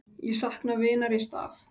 Ég sakna vinar í stað.